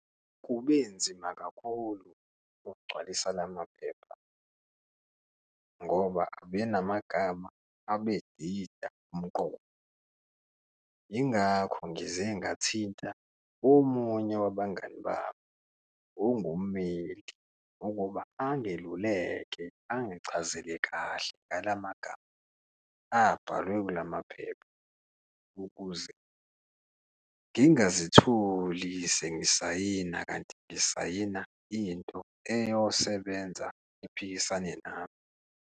Kube nzima kakhulu ukugcwalisa la maphepha ngoba abe namagama abedida umqondo, yingakho ngize ngathinta omunye wabangani bami ongummeli ukuba angeluleke, angichazele kahle ngalamagama abhalwe kulamaphepha ukuze ngingazitholi sengisayina, kanti ngisayina into eyosebenza iphikisane nami.